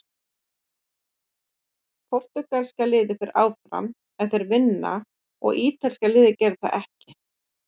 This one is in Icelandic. Portúgalska liðið fer áfram ef þeir vinna og ítalska liðið gerir það ekki.